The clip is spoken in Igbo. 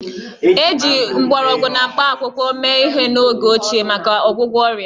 Eji mgbọrọgwụ na mkpakwụkwọ mee ihe n'oge ochie maka ọgwụgwọ ọrịa